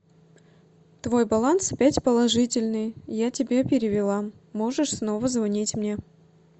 твой баланс опять положительный я тебе перевела можешь снова звонить мне